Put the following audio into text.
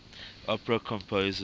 opera composers